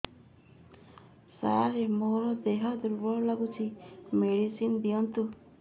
ସାର ମୋର ଦେହ ଦୁର୍ବଳ ଲାଗୁଚି ମେଡିସିନ ଦିଅନ୍ତୁ